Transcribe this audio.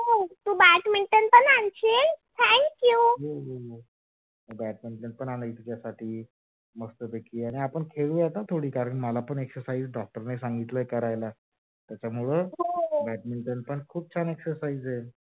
हो badminton पण आणायचं तुझ्यासाठी आणि आपण खेडूया का थोडी? कारण मल doctor नी सांगितल exercise करायला त्याच्यामुळ badminton पण एक exercise आहे.